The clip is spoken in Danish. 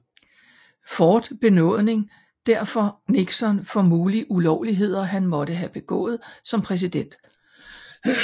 Ford benådning derfor Nixon for mulige ulovligheder han måtte have begået som præsident